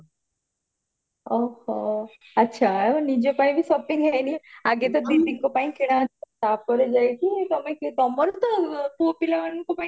ଓହୋ ଆଚ୍ଛା ଆଉ ନିଜ ପାଇଁ ବି shopping ହେଇନି ଆଗେ ତ ଦିଦିଙ୍କ ପାଇଁ କିଣାଯିବ ତାପରେ ଯାଇକି ତମେ ତମର ତ ପୁଅ ପିଲାମାନଙ୍କ ପାଇଁ